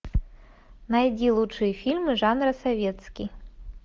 найди лучшие фильмы жанра советский